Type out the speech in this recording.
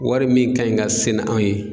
Wari min ka ɲi ka se na anw ye